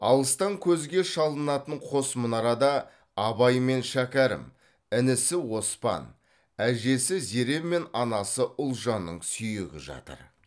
алыстан көзге шалынатын қос мұнарада абай мен шәкәрім інісі оспан әжесі зере мен анасы ұлжанның сүйегі жатыр